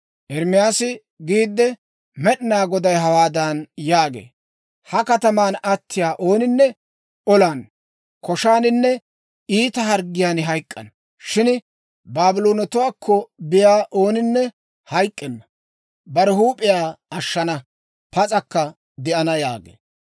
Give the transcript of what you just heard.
Ermaasi giidde, «med'inaa Goday hawaadan yaagee; ‹Ha kataman attiyaa ooninne olan, koshaaninne iita harggiyaan hayk'k'ana. Shin Baabloonetuwaakko biyaa ooninne hayk'k'enna. Bare huup'iyaa ashshana; pas'akka de'ana› yaagee.